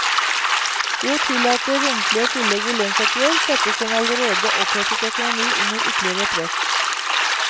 Ved å tillate romslige tillegg i lønnsoppgjør, settes en allerede opphetet økonomi under ytterligere press.